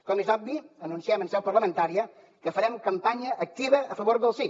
com és obvi anunciem en seu parlamentària que farem campanya activa a favor del sí